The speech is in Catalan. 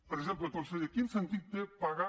per exemple conseller quin sentit té pagar